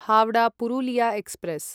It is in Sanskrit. हावडा पुरुलिया एक्स्प्रेस्